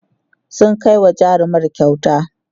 sun Kai wa jarumar kyauta